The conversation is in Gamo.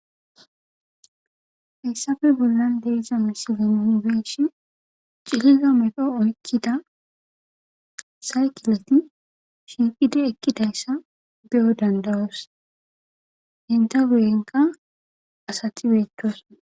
Haysappe bollan de'iza misilen nun beyishn cililo medho oykkida saykileti shiiqidi ekkidayssa beyo danda'os enta guyenka asati beetosona.